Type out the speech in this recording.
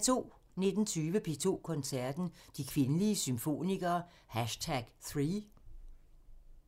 19:20: P2 Koncerten – De kvindelige symfonikere #3